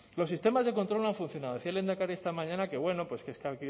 los sistemas de control han funcionado decía el lehendakari esta mañana que bueno pues que está